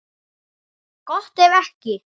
Gott ef ekki.